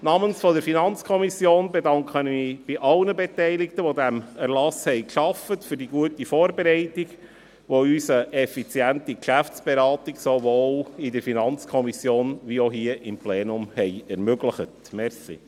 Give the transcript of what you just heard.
Im Namen der FiKo bedanke ich mich bei allen Beteiligten, die an diesem Erlass gearbeitet haben, für die gute Vorbereitung, welche uns eine effiziente Geschäftsberatung sowohl in der FiKo als auch hier im Plenum ermöglich hat.